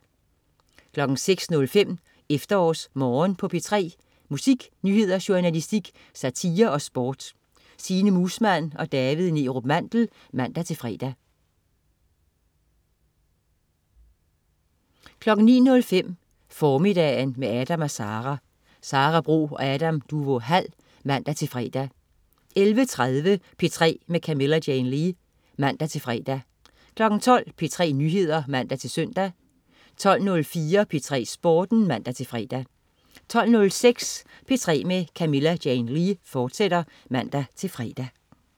06.05 EfterårsMorgen på P3. Musik, nyheder, journalistik, satire og sport. Signe Muusmann og David Neerup Mandel (man-fre) 09.05 Formiddagen med Adam & Sara. Sara Bro og Adam Duvå Hall (man-fre) 11.30 P3 med Camilla Jane Lea (man-fre) 12.00 P3 Nyheder (man-søn) 12.04 P3 Sporten (man-fre) 12.06 P3 med Camilla Jane Lea, fortsat (man-fre)